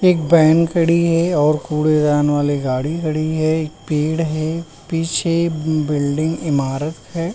एक बैन खड़ी है और कूड़ेदान वाली गाड़ी है। एक पेड़ है। पीछे बिल्डिंग ईमारत है।